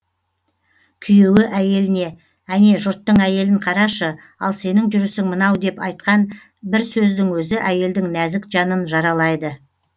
күйеуі әйеліне әне жұрттың әйелін қарашы ал сенің жүрісің мынау деп айтқан бір сөздің өзі әйелдің нәзік жанын жаралайды